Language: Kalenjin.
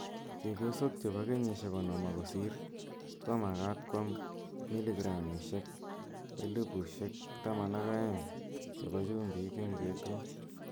Chepyosook chepo kenyishek konom ak kosir komagaat kwam miligramishek 1200 chepo chumbiik �eng betuut.